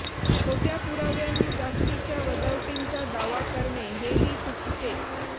खोट्या पुराव्यांनी जास्तीच्या वजावटींचा दावा करणे हे ही चुकीचेच